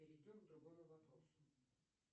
перейдем к другому вопросу